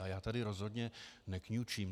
A já tady rozhodně nekňučím.